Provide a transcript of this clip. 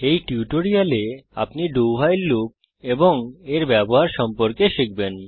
এই টিউটোরিয়ালে আপনি do ভাইল লুপ এবং এর ব্যবহার সম্পর্কে শিখবেন